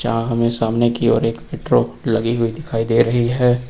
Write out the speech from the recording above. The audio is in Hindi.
यहां हमें सामने कि ओर एक मेट्रो लगी हुई दिखाई दे रही है।